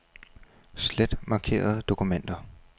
Slet markerede dokumenter.